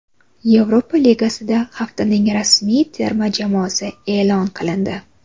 Yevropa Ligasida haftaning ramziy terma jamoasi e’lon qilindi.